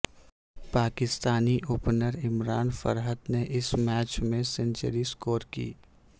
Pakistani opener Imran Farhat نے اس match میں سنچری سکور کی